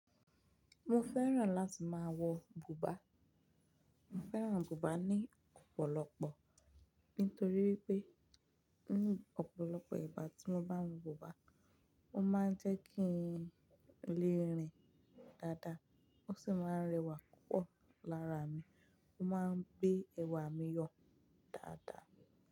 Mo fẹ́ràn láti máa wọ bùbá. Mo fẹ́ràn bùbá ní ọ̀pọ̀lọpọ̀ nítorí wipé ọ̀pọ̀lọpọ̀ ìgbà tí mo bá ń wọ bùbá, ó máa ń jẹ́ kí n lè rìn dáadáa, ó sì máa ń rẹwà púpọ̀ lára mi, ó máa ń gbé ẹwà mi yọ dáadáa.